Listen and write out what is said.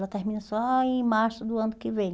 Ela termina só em março do ano que vem.